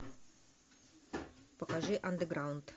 покажи андеграунд